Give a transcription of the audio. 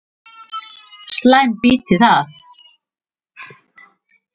Slæm býti það.